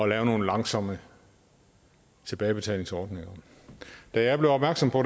lave nogle langsomme tilbagebetalingsordninger da jeg blev opmærksom på